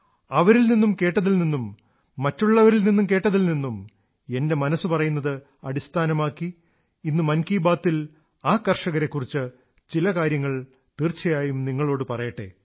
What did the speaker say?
അവരിൽ നിന്ന് കേട്ടതിൽ നിന്നും മറ്റുള്ളവരിൽ നിന്ന് കേട്ടതിൽ നിന്നും എന്റെ മനസ്സു പറയുന്നത് അടിസ്ഥാനമാക്കി ഇന്ന് മൻ കീ ബാത് ൽ ആ കർഷകരെക്കുറിച്ച് ചില കാര്യങ്ങൾ തീർച്ചയായും നിങ്ങളോടു പറയട്ടെ